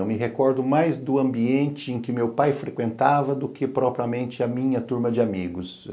Eu me recordo mais do ambiente em que meu pai frequentava do que propriamente a minha turma de amigos.